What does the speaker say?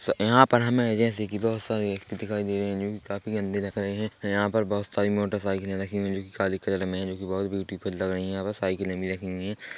यहाँ पर हमें जैसे की बहुत सारे व्यक्ति दिखाई दे रहे है जोकि काफ़ी गंदे दिख रहे है यहाँ पर बहुत सारी मोटर साइकिले रखी हुई है जोकि काले कलर में जोकि बहुत ब्यूटीफुल लग रही है यहाँ पर साइकिले भी रखी हुई है।